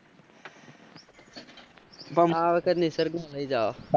પણ આ વખત તો નિસર્ગ ને લઇ જાવો.